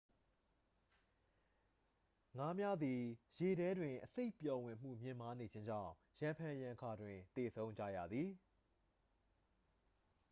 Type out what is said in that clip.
ငါးများသည် ရေထဲတွင် အဆိပ်ပျော်ဝင်မှု မြင့်မားနေခြင်းကြောင့် ရံဖန်ရံခါတွင်သေဆုံးကြရသည်